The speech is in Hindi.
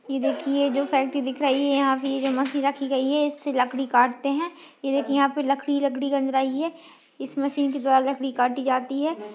ये देखिए जो इससे लकडी काटते है ये देखिए यहाँ पे लकडी लकडी गंज रही है इस मशीन के द्वारा लकडी काटी जाती है।